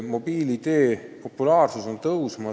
Mobiil-ID populaarsus tõuseb.